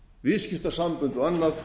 viðskiptasambönd og annað